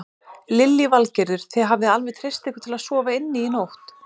Lillý Valgerður: Þið hafið alveg treyst ykkur til að sofa inni í nótt?